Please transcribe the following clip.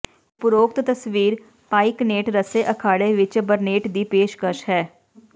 ਉਪਰੋਕਤ ਤਸਵੀਰ ਪਾਈਕਨੇਟ ਰੱਸੇ ਅਖਾੜੇ ਵਿੱਚ ਬਰਨੇਟ ਦੀ ਪੇਸ਼ਕਸ਼ ਹੈ